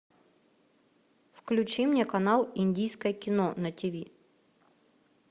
включи мне канал индийское кино на тиви